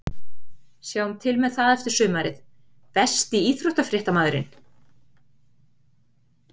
Sjáum til með það eftir sumarið Besti íþróttafréttamaðurinn?